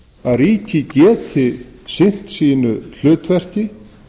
að ríkið geti sinnt sínu hlutverki